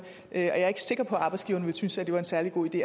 og jeg er ikke sikker på at arbejdsgiverne ville synes at det var en særlig god idé